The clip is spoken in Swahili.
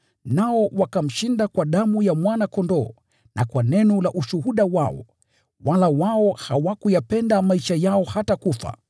Nao wakamshinda kwa damu ya Mwana-Kondoo na kwa neno la ushuhuda wao. Wala wao hawakuyapenda maisha yao hata kufa.